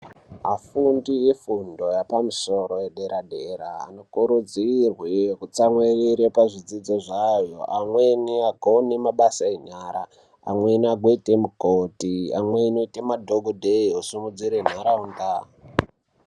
Afundi efundo yepamusoro yedera dera vanokuridzirwe kutsamwire pazvidzidzo zvavo amweni agone mabasa enyara amweni ana mukoti amwe azoita madhokodheya mweni osimudzire nharaunda.